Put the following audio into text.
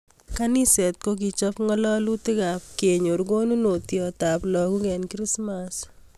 Kaniset kokichop ngalalutik ab kenyor konunotiot ab lokok eng krismass